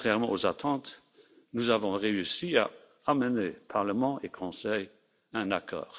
Et contrairement aux attentes, nous avons réussi à amener Parlement et Conseil à un accord.